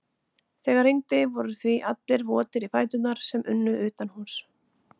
Þegar rigndi voru því allir votir í fætur sem unnu utanhúss.